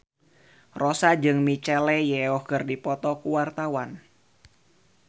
Rossa jeung Michelle Yeoh keur dipoto ku wartawan